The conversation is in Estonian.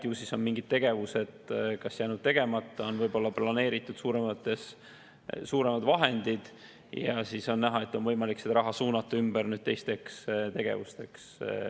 Ju siis on mingid tegevused kas jäänud tegemata või on planeeritud suuremad summad ja nii on võimalik suunata see raha teisteks tegevusteks.